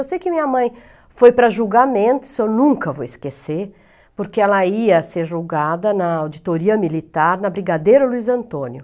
Eu sei que minha mãe foi para julgamento, isso eu nunca vou esquecer, porque ela ia ser julgada na Auditoria Militar, na Brigadeiro Luiz Antônio.